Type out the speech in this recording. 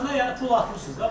Kartına yəni pul atmısan da buna?